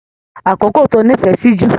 Àkókò tó nífẹẹ sí jù?